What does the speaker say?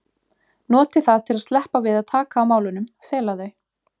noti það til að sleppa við að taka á málunum, fela þau.